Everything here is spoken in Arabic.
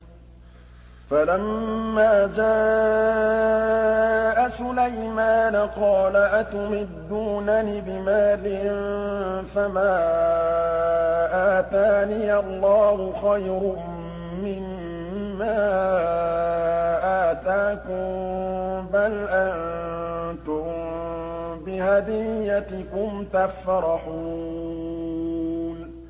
فَلَمَّا جَاءَ سُلَيْمَانَ قَالَ أَتُمِدُّونَنِ بِمَالٍ فَمَا آتَانِيَ اللَّهُ خَيْرٌ مِّمَّا آتَاكُم بَلْ أَنتُم بِهَدِيَّتِكُمْ تَفْرَحُونَ